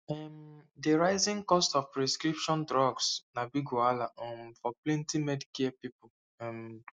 um di rising cost of prescription drugs na big wahala um for plenty medicare people um